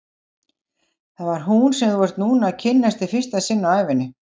Það er hún sem þú ert núna að kynnast í fyrsta sinn á ævinni.